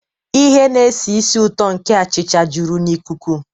Ihe na-esi ísì ụtọ nke achịcha juru n'ikuku.